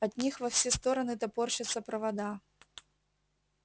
от них во все стороны топорщатся провода